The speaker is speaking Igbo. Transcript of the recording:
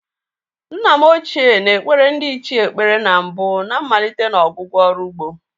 Nna m ochié na-ekpere ndiichie ekpere na mbụ na mmalite na ọgwụgwụ ọrụ ugbo.